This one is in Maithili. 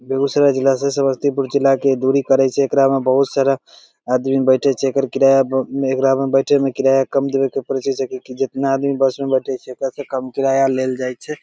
बेगूसराय जिला से समस्तीपुर जिला के दूरी पराए छै एकरा मे बहुत सारा आदमी बैठत छै एकर किरया एकरा मे बैठे मे किरया कम दवे के परे छै जितना आदमी बस मे बैठे छै ओकरा से कम किरया लेल जई छै।